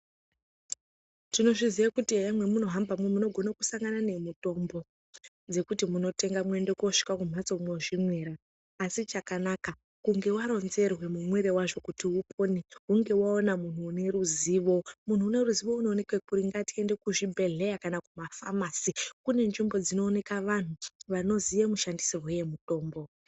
Tinozviziva kuti hee memunohamba umo munogone kusangana nemitombo dzekuti mutenge moende monosvike kumbatso mosvinira, asi chakanaka kunge waronzerwe mumwire wazvo kuti upone hunge waona muntu une ruzivo, muntu unoruzivo unooneke kuringa ngetihende kuzvibhedhlera kana kumafamasi kune nzvimbo dzinooneka vantu vanozive mushandisirwe wemutombo.